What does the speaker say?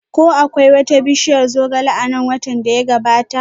Ko akwai wata bishiyar zogale a nan watan da ya gabata?